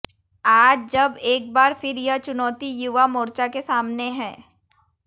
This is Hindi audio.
आज जब एक बार फिर यह चुनौती युवा मोर्चा के सामने है